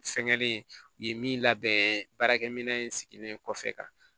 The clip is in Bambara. Fɛngɛlen u ye min labɛn baarakɛminɛn in sigilen kɔfɛ